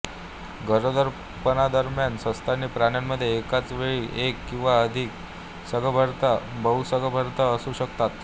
गरोदरपणादरम्यान सस्तनी प्राण्यांमध्ये एकाच वेळी एक किंवा अधिक सगर्भता बहुसगर्भता असू शकतात